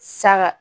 Saga